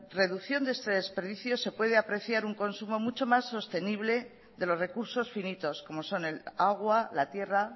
reducción de este desperdicio se puede apreciar un consumo mucho más sostenible de los recursos finitos como son el agua la tierra